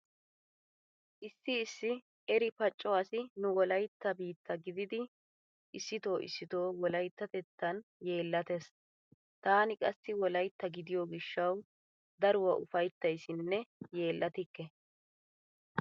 Issi issi eri pacco asi nu wolaytta biitta gidiiddi issito issito wolayttatettan yeellatees. Taani qassi wolytta gidiyo gishshawu daruwa ufayttaysinne yeellatikke.